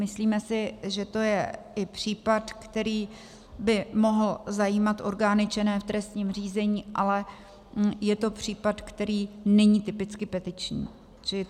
Myslíme si, že to je i případ, který by mohl zajímat orgány činné v trestním řízení, ale je to případ, který není typicky petiční.